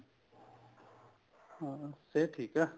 ਹਮ ਸਿਹਤ ਠੀਕ ਐ